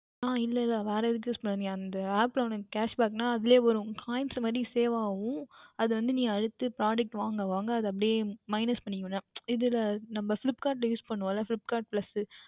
அஹ் இல்லை வேர் எதற்கும் Use பண்ண முடியாது நீ அந்த App இல் உனக்கு Cashback என்றால் அதுலையே வரும் உன் Coins மறுபடியும் Save ஆகும் அப்புறம் அது வந்து நீ அடுத்த Product வாங்க வாங்க அது அப்படியா பண்ணிக்கொள்ள வேண்டியதுதான் இதுயெல்லாம் நம்ம Flipkart யில் Use பண்ணுவோம்ல Flipkart first